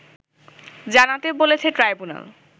জানাতে বলেছে ট্রাইব্যুনাল